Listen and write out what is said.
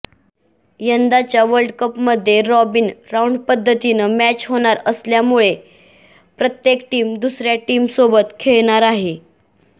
यंदाच्या वर्ल्डकपमध्ये रॉबिन राऊंडपध्दतीनं मॅच होणार असल्यामुळे प्रत्येक टीम दुसऱ्या टीमसोबत खेळणार आहे